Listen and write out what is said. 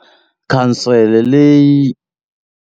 Khansele leyi.